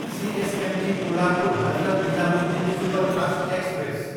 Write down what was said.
CSMT Kolhapur, Hazrat Nizamuddin superfast express